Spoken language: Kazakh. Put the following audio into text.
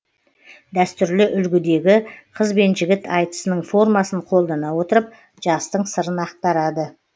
дәстүрлі үлгідегі қыз бен жігіт айтысының формасын қолдана отырып жастың сырын ақтарады